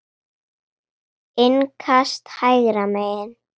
Innkast hægra megin.